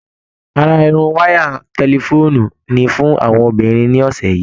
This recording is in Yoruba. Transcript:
Ará Irun waya tẹ̀lifoonu ni fún àwọn obìnrin ní ọsẹ yìí.